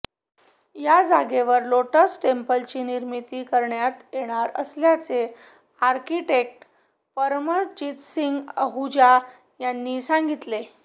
या जागेवर लोटस टेम्पलची निर्मिती करण्यात येणार असल्याचे आर्किटेक्ट परमजीत सिंह आहुजा यांनी सांगितले